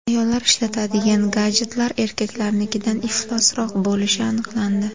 Ayollar ishlatadigan gadjetlar erkaklarnikidan iflosroq bo‘lishi aniqlandi.